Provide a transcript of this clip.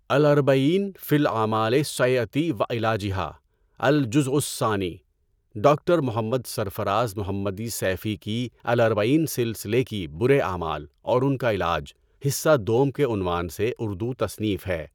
اَلاَرْبَعِین فِی الْاَعْمَالِ السَیّئَۃِ وَعِلَاجِھَا، اَلْجُزْءُ الثَّانِی ڈاکٹر محمد سرفراز محمدی سیفی کی الاربعین سلسلہ کی برے اعمال اور ان کا علاج حصہ دوم کے عنوان سے اردو تصنیف ہے۔